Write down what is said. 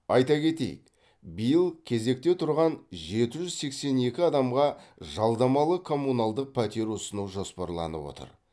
айта кетейік биыл кезекте тұрған жеті жүз сексен екі адамға жалдамалы коммуналдық пәтер ұсыну жоспарланып отыр